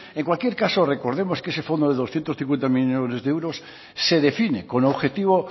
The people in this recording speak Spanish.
en cualquier caso recordemos que ese fondo de doscientos cincuenta millónes de euros se define con objetivo